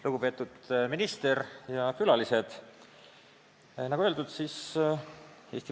Lugupeetud minister ja külalised!